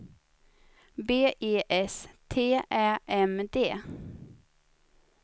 B E S T Ä M D